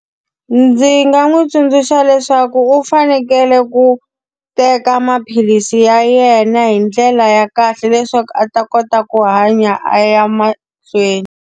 Ndzi nga n'wi tsundzuxa leswaku u fanekele ku teka maphilisi ya yena hi ndlela ya kahle leswaku a ta kota ku hanya a ya mahlweni.